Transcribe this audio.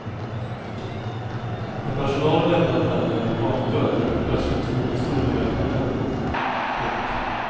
När personalen lämnade affären genom en bakdörr dök plötsligt två pistolbeväpnade män upp. punkt